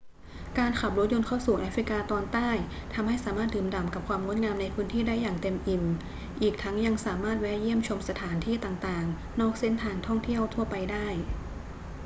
การขับรถยนต์เข้าสู่แอฟริกาตอนใต้ทำให้สามารถดื่มด่ำกับความงดงามในพื้นที่ได้อย่างเต็มอิ่ม อีกทั้งยังสามารถแวะเยี่ยมชมสถานที่ต่าง ๆ นอกเส้นทางท่องเที่ยวทั่วไปได้